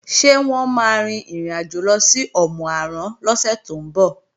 Ṣé wọ́n máa rin ìrìnàjò lọ sí Òmù-àrán lọ́sẹ̀ tó ń bọ̀?